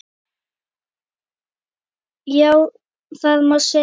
Já, það má segja.